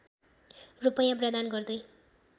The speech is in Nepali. रूपैयाँ प्रदान गर्दै